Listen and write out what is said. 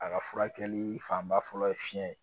A ka furakɛli fanba fɔlɔ ye fiyɛn ye.